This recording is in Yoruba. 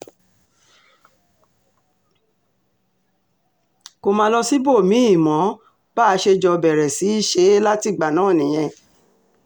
kó má lọ síbòmí-ín mọ bá a ṣe jọ bẹ̀rẹ̀ sí í ṣe é látìgbà náà nìyẹn